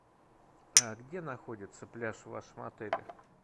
где находится пляж в вашем отеле